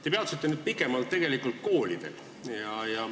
Te peatusite pikemalt koolidel.